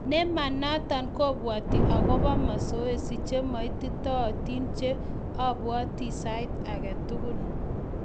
Ne ma noto kobwati akobo "mazoezi che maititootin che abwati sait age tugul